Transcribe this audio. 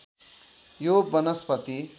यो वनस्पति